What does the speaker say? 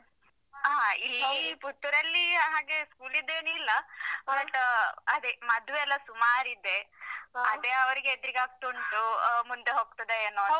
ಹಾ ಇಲ್ಲಿ ಪುತ್ತೂರಲ್ಲಿ ಹಾಗೆ school ದೇನಿಲ್ಲ. but ಅದೇ ಮದ್ವೆಯೆಲ್ಲಾ ಸುಮಾರ್ ಇದೆ. ಅದೇ ಅವ್ರಿಗೆ ಹೆದ್ರಿಕಾಗ್ತಾ ಉಂಟು. ಮುಂದೆ ಹೋಗ್ತದಾ ಏನೋ ಅಂತ.